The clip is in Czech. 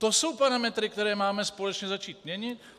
To jsou parametry, které máme společně začít měnit.